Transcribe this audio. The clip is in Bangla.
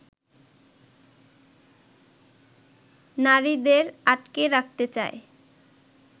নারীদের আটকে রাখতে চায়